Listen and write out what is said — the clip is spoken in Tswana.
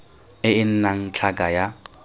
e e nnang tlhaka ya